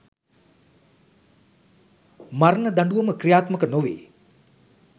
මරණ දඬුවම ක්‍රියාත්මක නොවේ